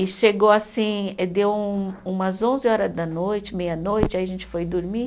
E chegou assim, deu umas onze horas da noite, meia-noite, aí a gente foi dormir.